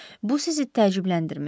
Bu sizi təəccübləndirmir?